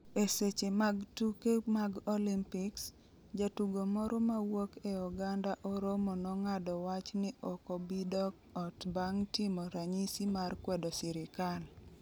E seche mag tuke mag Olympics, jatugo moro mawuok e oganda Oromo nong'ado wach ni ok obi dok ot bang' timo ranyisi mar kwedo sirikal.